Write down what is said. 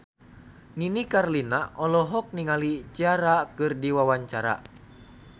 Nini Carlina olohok ningali Ciara keur diwawancara